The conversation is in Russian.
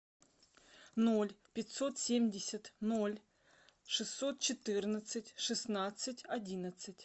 ноль пятьсот семьдесят ноль шестьсот четырнадцать шестнадцать одиннадцать